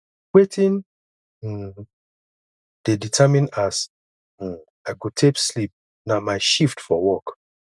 wetin um dey determine as um i go take sleep na my shift for work